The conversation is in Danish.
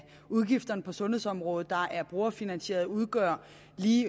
udgifter på sundhedsområdet der er brugerfinansieret udgør i